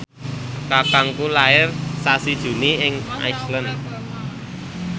kakangku lair sasi Juni ing Iceland